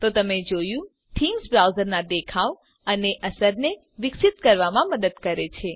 તો તમે જોયું કે થીમ્સ બ્રાઉઝરના દેખાવ અને અસરને વિકસિત કરવામાં મદદ કરે છે